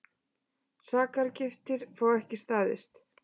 Sakargiftir fá ekki staðist